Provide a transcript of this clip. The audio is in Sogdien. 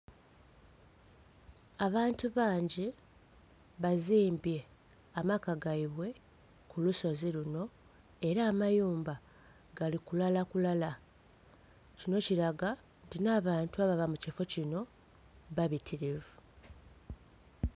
Abantu bangi bazimbye amaka gaibwe ku lusozi luno, era amayumba gali kulalakulala. Kino kilaga nti nh'abantu ababa mu kifo kino babitirivu.